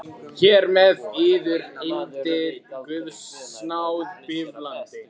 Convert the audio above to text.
Hér með yður undir guðs náð bífalandi.